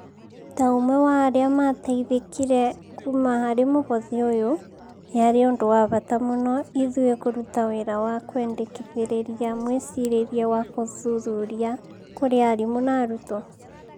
ta ũmwe wa arĩa mateithĩkire kuma harĩ mũhothi ũyũ, yarĩ ũndũ wa bata mũno ithuĩkũruta wĩra wa kwendikĩthĩrĩria mwĩcirĩrie wa gũthuthuria kũrĩ arimũ na arutwo